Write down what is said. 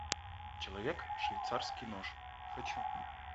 человек швейцарский нож хочу